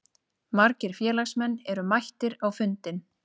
Margir félagsmenn eru mættir á fundinn